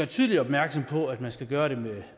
tydeligt opmærksom på at det skal gøres